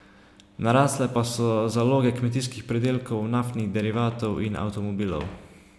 Narasle pa so zaloge kmetijskih pridelkov, naftnih derivatov in avtomobilov.